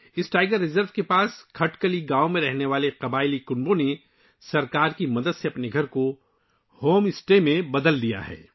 اس tiger reserve کے قریب کھٹکلی گاؤں میں رہنے والے قبائلی خاندانوں نے حکومت کی مدد سے اپنے گھروں کو ہوم اسٹے میں تبدیل کر دیا ہے